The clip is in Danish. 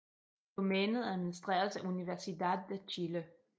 Domænet administreres af Universidad de Chile